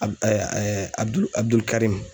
ABUDULI ABUDULI KARIMU